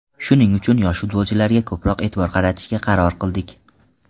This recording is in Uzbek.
Shuning uchun, yosh futbolchilarga ko‘proq e’tibor qaratishga qaror qildik.